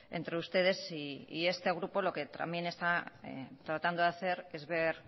entre ustedes este grupo lo que también está tratando de hacer es ver